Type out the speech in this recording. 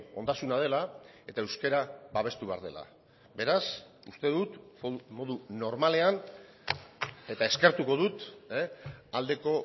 ondasuna dela eta euskara babestu behar dela beraz uste dut modu normalean eta eskertuko dut aldeko